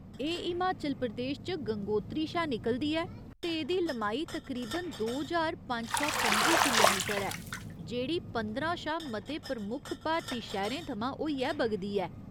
एह् हिमाचल प्रदेश च गंगोत्री शा निकलदी ऐ, ते एह्दी लमाई तकरीबन दो ज्हार पंज सौ पं'जी किलोमीटर ऐ, जेह्ड़ी पंदरां शा मते प्रमुख भारती शैह्‌रें थमां होइयै बगदी ऐ।